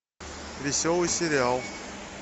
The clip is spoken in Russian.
веселый сериал